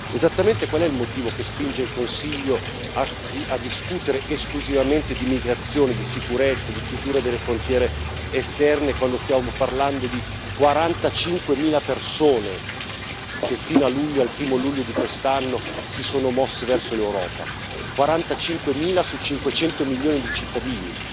Esattamente, qual è il motivo che spinge il Consiglio a discutere esclusivamente di immigrazione, di sicurezza, di chiusura delle frontiere esterne quando stiamo parlando di 45 mila persone che fino al 1o luglio di quest'anno si sono mosse verso l'Europa? 45 mila su 500 milioni di cittadini